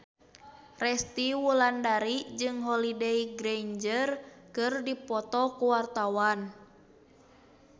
Resty Wulandari jeung Holliday Grainger keur dipoto ku wartawan